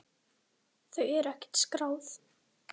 Þau eru ekkert skráð.